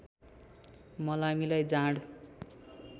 मलामीलाई जाँड